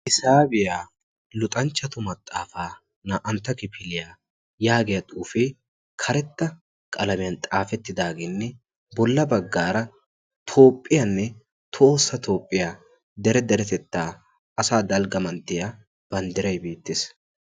Hisaabiyaa luxanchchatu maxaafaa naa"antta kifiliyaa yaagiya xuufee karetta qalamiyan xaafettidaageenne bolla baggaara toophphiyaanne toossa toophphiyaa dere deretettaa asa dalgga manttiyaa banddirai beettees.